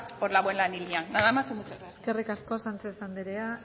por la buena línea nada más y muchas gracias eskerrik asko sánchez andrea